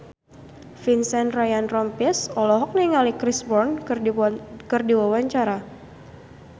Vincent Ryan Rompies olohok ningali Chris Brown keur diwawancara